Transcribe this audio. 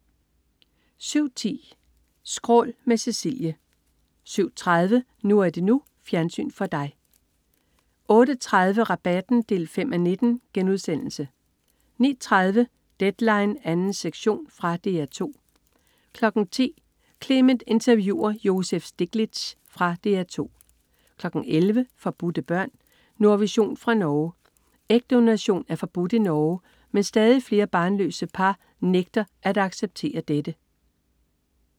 07.10 Skrål med Cecilie 07.30 NU er det NU. Fjernsyn for dig 08.30 Rabatten 5:19* 09.30 Deadline 2. sektion. Fra DR 2 10.00 Clement interviewer Joseph Stiglitz. Fra DR 2 11.00 Forbudte børn. Nordvision fra Norge. Ægdonation er forbudt i Norge, men stadig flere barnløse par nægter at acceptere dette